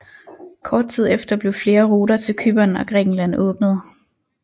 Kort tid efter blev flere ruter til Cypern og Grækenland åbnet